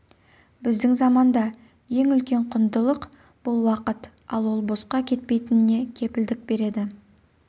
біздің заманда ең үлкен құндылық бұл уақыт ал ол босқа кетпейтініне кепілдік береді